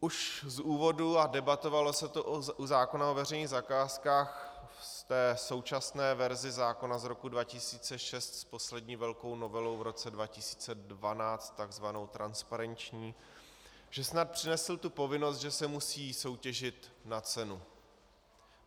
Už z úvodu - a debatovalo se to u zákona o veřejných zakázkách v té současné verzi zákona z roku 2006 s poslední velkou novelou v roce 2012, takzvanou transparenční, že snad přinesl tu povinnost, že se musí soutěžit na cenu.